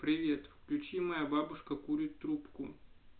привет включи моя бабушка курит трубку